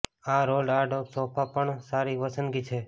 એક રોલ્ડ આડ સોફા પણ સારી પસંદગી છે